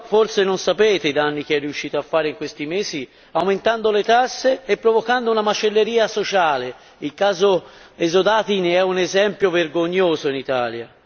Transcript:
Voi però forse non sapete i danni che è riuscito a fare in questi mesi, aumentando le tasse e provocando una macelleria sociale il caso esodati ne è un esempio vergognoso in Italia.